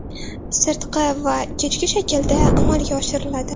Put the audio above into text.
sirtqi va kechki shaklda amalga oshiriladi.